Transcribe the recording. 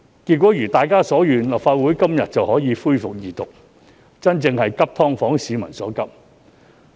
結果一如大家所願，立法會今天便可以恢復二讀《條例草案》，真正做到急"劏房"市民所急。